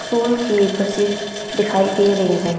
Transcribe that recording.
School की buses दिखाई दे रही हैं।